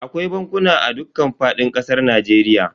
Akwai bankuna a dukkan fadin kasar Najeriya.